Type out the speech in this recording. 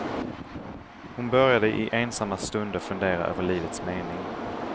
Hon började i ensamma stunder fundera över livets mening.